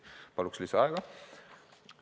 Palun lisaaega!